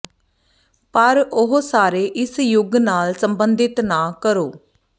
ਪਰ ਉਹ ਸਾਰੇ ਇਸ ਯੁੱਗ ਨਾਲ ਸੰਬੰਧਿਤ ਨਾ ਕਰੋ